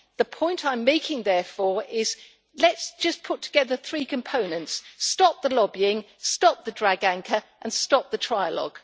The point I am making, therefore, is let us just put together three components stop the lobbying, stop the drag anchor and stop the trilogue.